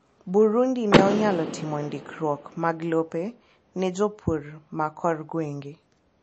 Burundi ne onyalo timo ndikruok mag lope ne jopur ma korgwenge.